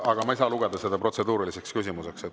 Aga ma ei saa lugeda seda protseduuriliseks küsimuseks.